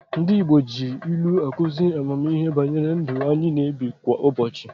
Ndị Igbo ji ilu akụzi ammihe banyere ndụ anyị na-ebi kwa ụbochị.